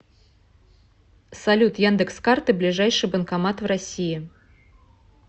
салют яндекс карты ближайший банкомат в россии